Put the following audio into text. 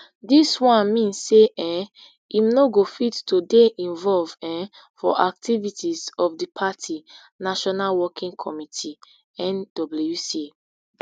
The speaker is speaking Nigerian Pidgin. dis one mean say um im no go fit to dey involve um for activities of di party national working committee nwc